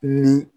Ni